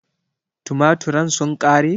Tumaturen sun ƙare?